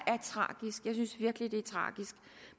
virkelig er tragisk